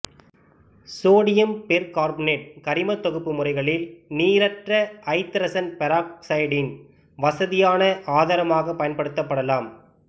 sodium percarbonate கரிமத் தொகுப்பு முறைகளில் நீரற்ற ஐதரசன் பெராக்சைடின் வசதியான ஆதாரமாகப் பயன்படுத்தப்படலாம்